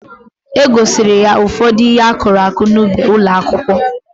E gosiri ha ụfọdụ ihe akụrụ akụ n'ubi ụlọakwụkwọ